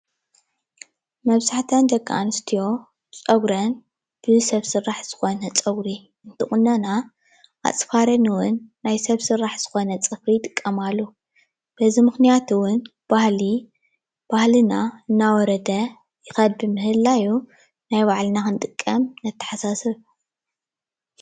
መብዛሕትአን ደቂ ኣንስትዮ ፀጉረን ብ ሰብ ስራሕ ዝኮነ ፀጉሪ እንትቁነና ኣፅፋረን እውን ናይ ሰብ ስራሕ ዝኮነ ፅፍሪ ይጥቀማሉ። በዚ ምክንያት እውን ባህሊ ባህልና እናወረደ ይከድ ብምህላው ናይ ባዕልና ክንጥቀም ነተሓሳስብ።